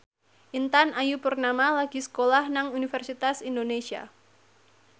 Intan Ayu Purnama lagi sekolah nang Universitas Indonesia